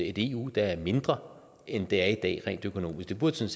et eu der er mindre end det er i dag rent økonomisk det burde